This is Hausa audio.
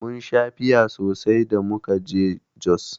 Mun sha fiya sosai da muka je Jos.